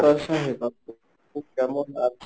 কেমন আছো?